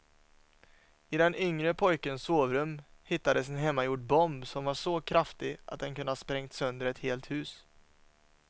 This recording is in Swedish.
I den yngre pojkens sovrum hittades en hemmagjord bomb som var så kraftig att den kunde ha sprängt sönder ett helt hus.